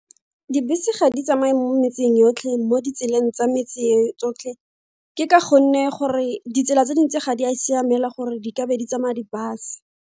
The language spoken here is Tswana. Dibese ga di tsamaye mo metseng yotlhe mo ditseleng tsa metse tsotlhe ke Ka gonne gore ditsela tse dintsi ga di a siamela gore di kabe di tsamaya di-bus.